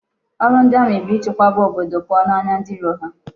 Oru ndi Ami bu ichekwaba obodo puo n'anya ndi iro ha